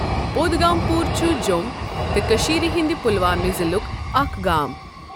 پۄدگامپور چھُ جۆم تہٕ کٔشیٖر ہنٛدِ پُلوامِہ ضِلُک اَکھ گام۔